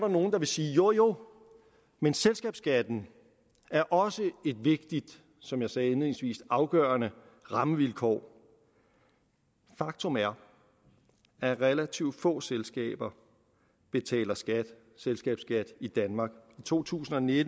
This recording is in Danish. nogle der vil sige jo jo men selskabsskatten er også et vigtigt som jeg sagde indledningsvis afgørende rammevilkår faktum er at relativt få selskaber betaler selskabsskat i danmark i to tusind og ni